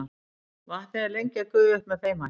vatnið er lengi að gufa upp með þeim hætti